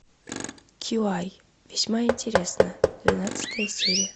кьюай весьма интересно двенадцатая серия